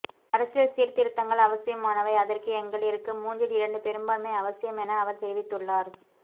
அரசியல் சீர்திருத்தங்கள் அவசியமானவை அதற்கு எங்களிற்கு மூன்றில் இரண்டு பெரும்பான்மை அவசியம் என அவர் தெரிவித்துள்ளார்